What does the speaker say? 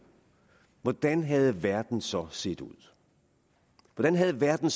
hvordan havde verden så set ud hvordan havde verden